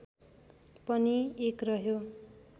पनि एक रह्यो